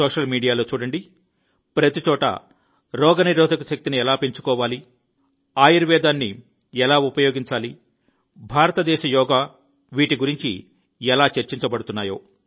social మీడియాలో చూడండి ప్రతిచోటా రోగనిరోధక శక్తిని ఎలా పెంచుకోవాలి ఆయుర్వేదం భారతదేశ యోగా ఎలా చర్చించబడుతున్నాయి